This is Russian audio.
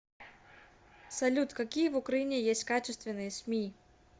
салют какие в украине есть качественные сми